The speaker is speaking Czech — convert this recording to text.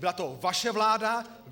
Byla to vaše vláda.